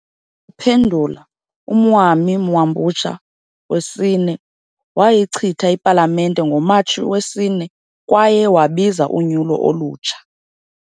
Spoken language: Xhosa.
Ukuphendula, uMwami Mwambutsa IV wayichitha iPalamente ngoMatshi 4 kwaye wabiza unyulo olutsha.